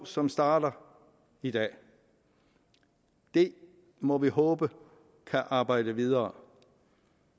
som starter i dag det må vi håbe kan arbejde videre